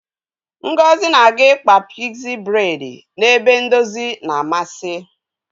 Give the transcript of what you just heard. Ngozi na-aga ịkpa pigzi bredi n' ebe ndozi na-amasị.